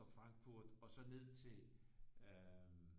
Så Franfurt og så ned til øh